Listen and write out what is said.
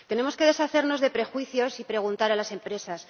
Tenemos que deshacernos de prejuicios y preguntar a las empresas.